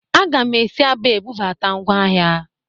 Aga'm si Aba ebubata ngwa ahịa